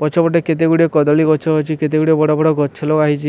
ପଛପଟେ କେତେ ଗୁଡ଼ିଏ କଦଳୀ ଗଛ ଅଛି କେତେ ଗୁଡ଼ିଏ ବଡ ବଡ ଗଛ ଲଗା ହେଇଚି।